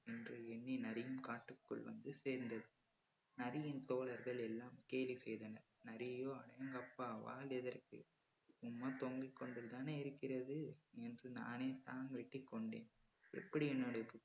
நன்று என்று எண்ணி நரியும் காட்டிற்குள் வந்து சேர்ந்தது. நரியின் தோழர்கள் எல்லாம் கேலி செய்தனர் நரியோ அடேங்கப்பா வால் எதற்கு சும்மா தொங்கிக் கொண்டுதானே இருக்கிறது என்று நானேதான் வெட்டிக் கொண்டேன் எப்படி என்னுடைய